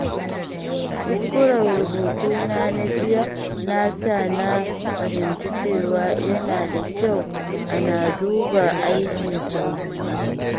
Kuskuren rubutuna na jiya ya sa na fahimci cewa yana da kyau ana duba aiki sau biyu.